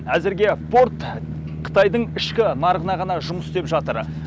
әзірге порт қытайдың ішкі нарығына ғана жұмыс істеп жатыр